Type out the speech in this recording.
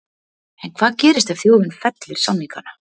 En hvað gerist ef þjóðin fellir samningana?